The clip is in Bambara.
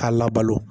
K'a labalo